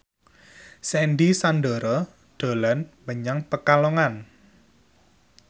Sandy Sandoro dolan menyang Pekalongan